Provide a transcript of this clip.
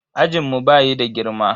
Ajinmu bayi da girma.